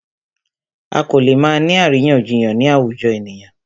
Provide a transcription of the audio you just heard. A kò lè má ni àríyànjiyàn ni àwùjọ ènìyàn.